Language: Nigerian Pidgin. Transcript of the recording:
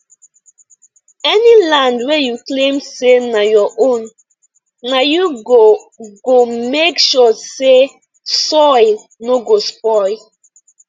any land wey you claim say na your own na you go go make sure say soil no go spoil